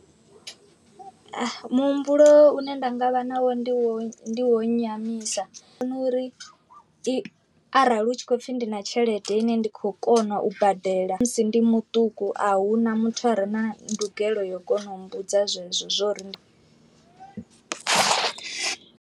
Muhumbulo u ne nda nga vha nawo ndi wo wo nyamisa nori i arali hu tshi khou pfhi ndi na tshelede ine ndi kho kona u badela musi ndi muṱuku ahuna muthu a re na ndugelo yo kona u mbudza zwezwo zwori ndi .